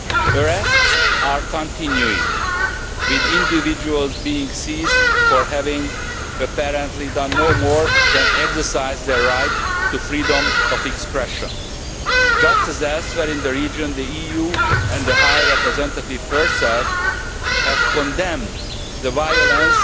Arrests are continuing, with individuals being seized for having apparently done no more than exercise their right to freedom of expression. Just as elsewhere in the region, the EU and the High Representative herself have condemned the violence